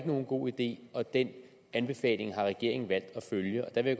nogen god idé og den anbefaling har regeringen valgt at følge der vil